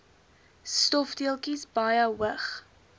stofdeeltjies baie hoog